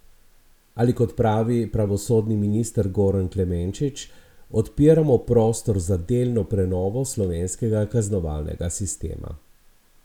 Ali kot pravi pravosodni minister Goran Klemenčič: 'Odpiramo prostor za delno prenovo slovenskega kaznovalnega sistema.